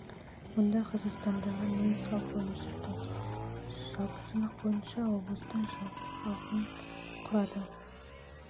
мұнда қазақстандағы неміс халқының өмір сүрді немістер облыстың жалпы халқының құрады жылғы санақ халықтың ұлттық емес